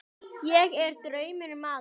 uns að æðsta miði